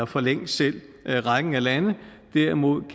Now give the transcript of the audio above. forlæng selv rækken af lande derimod